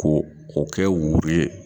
Ko k'o kɛ wuru ye.